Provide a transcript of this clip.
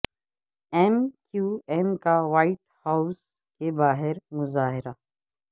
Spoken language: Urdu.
ایم کیو ایم کا وائٹ ہاوس کے باہر مظاہرہ